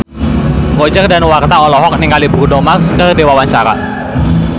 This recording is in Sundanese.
Roger Danuarta olohok ningali Bruno Mars keur diwawancara